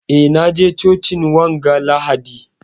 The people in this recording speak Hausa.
Eh, na je cocin wanga lahadi.